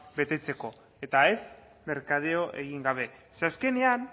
betetzeko eta ez merkadeo egin gabe ze azkenean